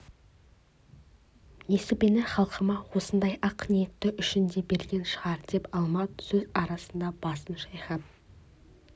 несібені халқыма осындай ақ ниеті үшін де берген шығар деп алмат сөз арасында басын шайқап